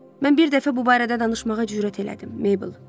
Mən bir dəfə bu barədə danışmağa cürət elədim, Mabel.